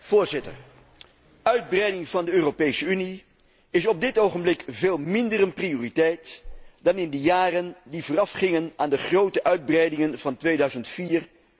Voorzitter, uitbreiding van de Europese Unie is op dit ogenblik veel minder een prioriteit dan in de jaren die voorafgingen aan de grote uitbreidingen van 2004